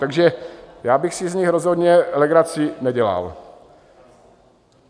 Takže já bych si z nich rozhodně legraci nedělal.